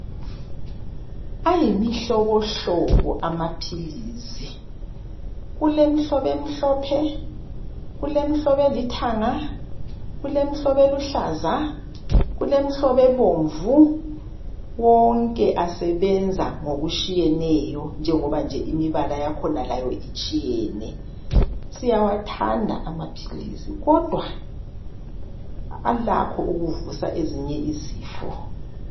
Ayimihlobohlobo amaphilisi. Kulemhlobo emhlophe, kulemhlobo elithanga, kulemhlobo eluhlaza, ebomvu wonke asebenza ngokutshiyeneyo .Siyawathanda amaphilisi kodwa alakho ukuvusa ezinye izifo.